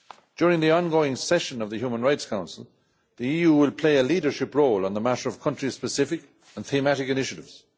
During the ongoing session of the Human Rights Council, the EU will play a leadership role on the matter of country specific and thematic initiatives.